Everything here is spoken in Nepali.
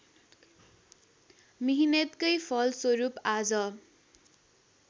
मिहिनेतकै फलस्वरूप आज